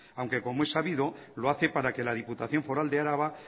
aunque como he sabido lo hace para que la diputación foral de araba